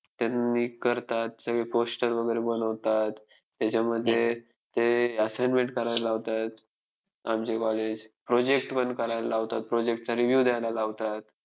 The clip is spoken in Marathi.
आज कालच्या न लोकांनी शिवाजी महाराजाकडून प्रेरणा घेतली पाहिजे.त्यांच्या काळात अ स्त्रियांवर कोणतेच अन्याय होत नव्हते तसेच प्रजा ही सुखी राहत होती.